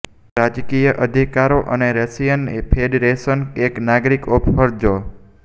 રાજકીય અધિકારો અને રશિયન ફેડરેશન એક નાગરિક ઓફ ફરજો